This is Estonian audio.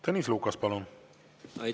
Tõnis Lukas, palun!